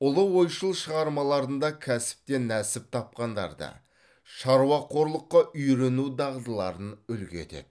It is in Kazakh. ұлы ойшыл шығармаларында кәсіптен нәсіп тапқандарды шаруақорлыққа үйрену дағдыларын үлгі етеді